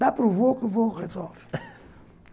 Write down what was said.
Dá para o vô que o vô resolve.